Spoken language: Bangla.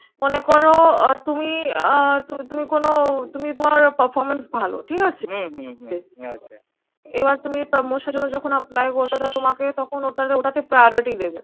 মনে করো আহ তুমি আহ তুমি কোনো তুমি তোমার performance ভালো ঠিক আছে? হম হম হম ঠিক আছে। এবার তুমি promotion এর জন্য যখন apply ওটা তোমাকে, তখন ওটাতে ওটাতে priority দেবে